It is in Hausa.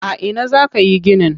A ina za ka yi ginin?